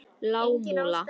Lágmúla